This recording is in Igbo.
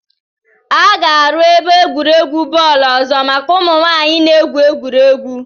A ga-aru ebe egwuregwu bọọlụ ọzọ maka ụmụ nwanyị na-egwu egwuregwu